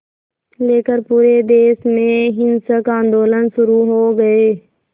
लेकर पूरे देश में हिंसक आंदोलन शुरू हो गए